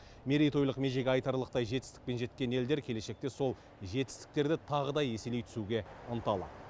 мерейтолық межеге айтарлықтай жетістікпен жеткен елдер келешекте сол жетістіктерді тағы да еселей түсуге ынталы